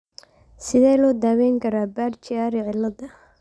Sidee loo daweyn karaa Budd Chiari ciladha?